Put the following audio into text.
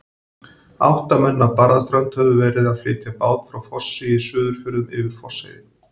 Átta menn af Barðaströnd höfðu verið að flytja bát frá Fossi í Suðurfjörðum, yfir Fossheiði.